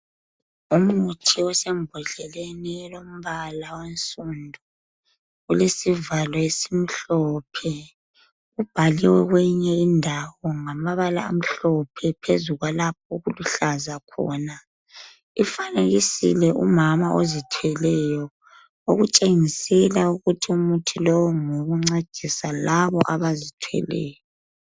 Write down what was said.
Umuthi osembodleni elombala onsundu. Ulesivalo esimhlophe, Ubhaliwe kwenye indawo ngamabala amhlophe. Phezu kwalapha okuluhlaza khona. Ufanekisile umama ozithweleyo. Okutshengisela ukuthi umuthi lowu ngowokuncedisa bonalabo abazithweleyo.